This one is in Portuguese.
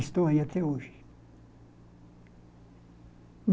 Estou aí até hoje.